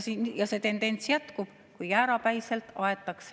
See tendents jätkub, kui jäärapäiselt aetakse nii …